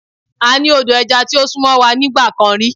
A ní odò oko ẹja tí ó sún mọ́ wa nígbà kan rí.